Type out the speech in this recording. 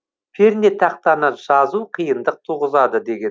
пернетақтаны жазу қиындық туғызады деген